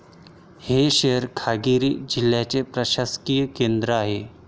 हे शहर खगारिया जिल्ह्याचे प्रशासकीय केंद्र आहे.